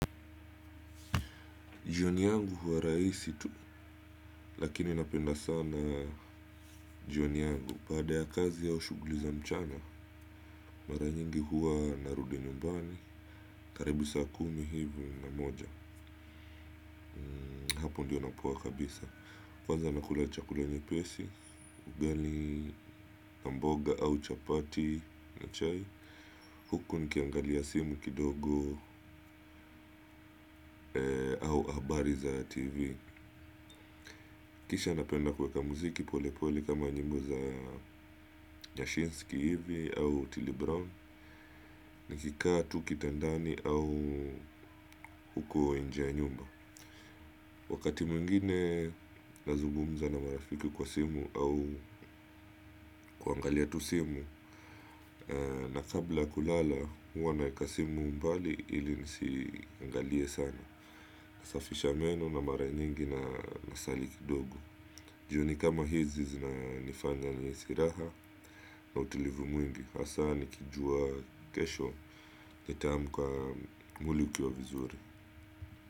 Jioni yangu huwa rahisi tu. Lakini napenda sana jioni yangu baada ya kazi au shughuli za mchana. Mara nyingi huwa narudi nyumbani. Karibu saa kumi hivi na moja. Hapo ndio napoa kabisa. Kwanza nakula chakula nyepesi. Ugali na mboga au chapati na chai huku nikiangalia simu kidogo au habari za tv kisha napenda kuweka muziki pole pole kama nyimbo za nyashinski hivi au otile brown nikikaa tu kitandani au huko nje ya nyumba wakati mwingine nazugumza na marafiki kwa simu au kuangalia tu simu na kabla kulala huwana kasimu mbali ili nisi iangalie sana nasafisha meno na mara nyingi na asali kidogo jioni kama hizi zina nifanya nihisi raha na utilivu mwingi. Hasaa nikijua kesho nitaamka mwili ukiwa vizuri.